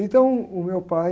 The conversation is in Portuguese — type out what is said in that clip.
Então, o meu pai...